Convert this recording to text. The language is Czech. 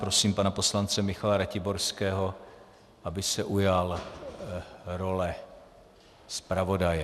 Prosím pana poslance Michala Ratiborského, aby se ujal role zpravodaje.